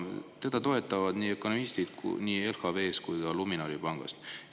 " Teda toetavad ökonomistid nii LHV‑st kui ka Luminori pangast.